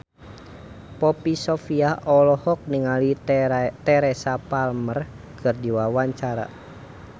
Poppy Sovia olohok ningali Teresa Palmer keur diwawancara